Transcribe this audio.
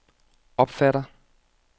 opfatter